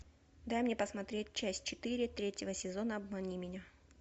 дай мне посмотреть часть четыре третьего сезона обмани меня